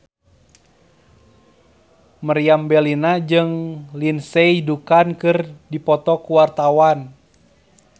Meriam Bellina jeung Lindsay Ducan keur dipoto ku wartawan